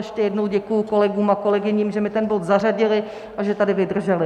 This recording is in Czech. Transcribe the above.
Ještě jednou děkuji kolegům a kolegyním, že mi ten bod zařadili a že tady vydrželi.